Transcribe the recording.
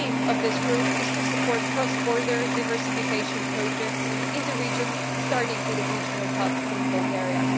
The aim of this group is to support cross border diversification projects in the region, starting with a regional hub in Bulgaria.